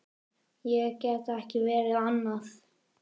Ég get ekki verið annað.